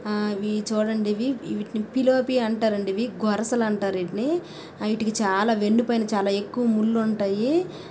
ఆ ఇవి చూడండి ఇవి ఇవీటిని పిలోపి అంటారండి ఇవి గొరుస లంటారు ఇటిని ఇటికి చాలా వెన్ను పైన చాలా ఎక్కువ ముల్లుంటయి.